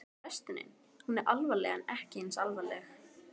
En frestunin, hún er alvarleg en ekki eins alvarleg?